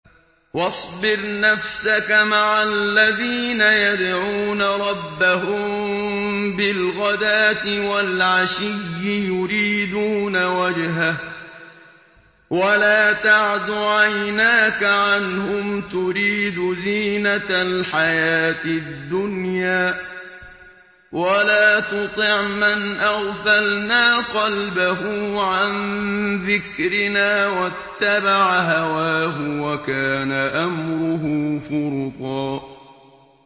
وَاصْبِرْ نَفْسَكَ مَعَ الَّذِينَ يَدْعُونَ رَبَّهُم بِالْغَدَاةِ وَالْعَشِيِّ يُرِيدُونَ وَجْهَهُ ۖ وَلَا تَعْدُ عَيْنَاكَ عَنْهُمْ تُرِيدُ زِينَةَ الْحَيَاةِ الدُّنْيَا ۖ وَلَا تُطِعْ مَنْ أَغْفَلْنَا قَلْبَهُ عَن ذِكْرِنَا وَاتَّبَعَ هَوَاهُ وَكَانَ أَمْرُهُ فُرُطًا